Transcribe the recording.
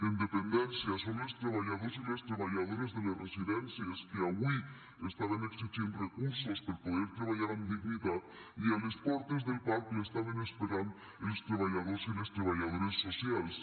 en dependència són els treballadors i les treballadores de les residències que avui estaven exigint recursos per poder treballar amb dignitat i a les portes del parc l’estaven esperant els treballadors i les treballadores socials